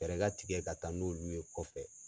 Fɛɛɛrɛ ka tigɛ ka taa n'olu ye olu ye kɔfɛ.